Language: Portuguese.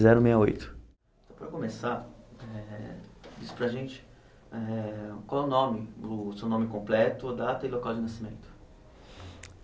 Zero meia oito. Para começar eh, diz para a gente eh, qual o nome, o seu nome completo, a data e local de nascimento.